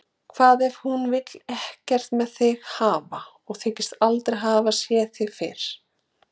Hvað ef hún vill ekkert með þig hafa og þykist aldrei hafa séð þig fyrr?